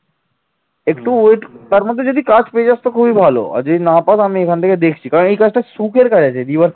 কাজ পেয়ে যাস তো খুবই ভালো যদি না পাস আমি এখান থেকে দেখছি কারণ এই কাজটা সুখের কাজ আছে।